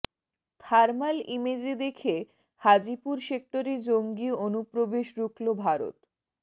thermal ইমেজে দেখে হাজিপুর সেক্টরে জঙ্গি অনুপ্রবেশ রুখল ভারত